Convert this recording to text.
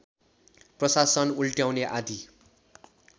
प्रशासन उल्ट्याउने आदि